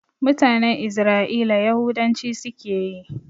Mutanen Isra'ila Yahudanci suke yi